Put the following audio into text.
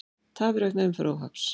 Tafir vegna umferðaróhapps